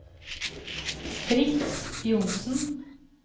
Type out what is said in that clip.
Fritz Johnsen